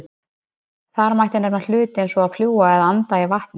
þar mætti nefna hluti eins og að fljúga eða að anda í vatni